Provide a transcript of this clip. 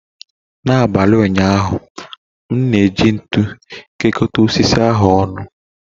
N’abalị ụnyaahụ, m na-eji ntu kekọta osisi ahu ọnụ.